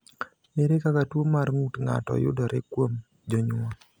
Ere kaka tuwo mar ng’ut ng’ato yudore kuom jonyuol?